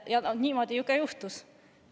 Niimoodi ju juhtuski.